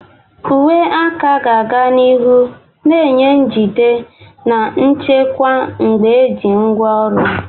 Uwe aka ga-aga n'ihu na-enye njide na nchekwa mgbe eji ngwaọrụ.